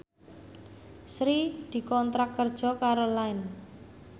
Sri dikontrak kerja karo Line